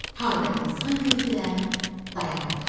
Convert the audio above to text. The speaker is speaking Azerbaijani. Harda insan gördülər, dayandılar.